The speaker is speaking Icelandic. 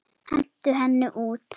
Hentu henni út!